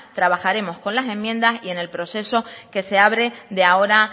trabajaremos con las enmiendas y en el proceso que se abre de ahora